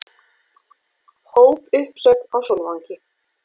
Hópuppsögn á Sólvangi